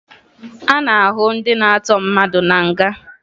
A na-ahụ ndị na-atọ mmadụ na nga